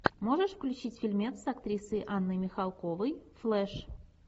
можешь включить фильмец с актрисой анной михалковой флеш